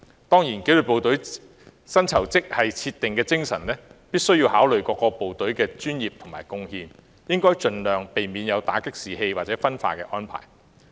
當然，紀律部隊薪酬職系的設定，必須考慮各個部隊的專業和貢獻，並應盡量避免作出或會打擊士氣或導致分化的安排。